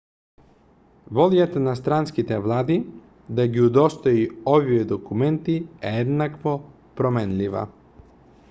волјата на странските влади да ги удостои овие документи е еднакво променлива